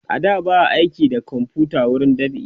a da ba a aiki da komfuta wurin dab'i